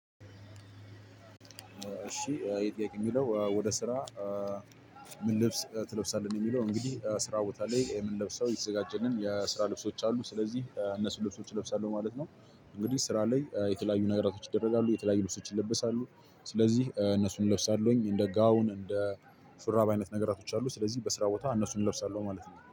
እሺ ይሄ ጥያቄ የሚለው ወደ ስራ? ምን ልብስ ትለብሳለህ ነው የሚለው እንግዲህ ስራ ቦታ ላይ የምንለብሰው የተዘጋጀልን የስራ ልብሶች አሉ ስለዚህ እነሱን ልብሶች እለብሳለሁ ማለት ነው። እንግዲህ ስራ ላይ የተለያዩ ነገራቶች ይደረጋሉ የተለያዩ ልብሶች ይለበሳሉ ስለዚህ እነሱን እለብሳለሁኝ እንደ ጋውን እንደ ሹራብ አይነት ነገራቶች አሉ ስለዚህ በስራ ቦታ እነሱን እለብሳለሁ። ማለት ነው